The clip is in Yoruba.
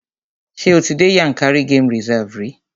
Ṣé o ti dé Yànkárí game reserve rí?